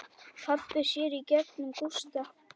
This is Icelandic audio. Pabbi sér í gegnum Gústa.